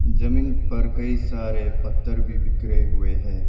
जमीन पर कई सारे पत्थर भी बिखरे हुए हैं।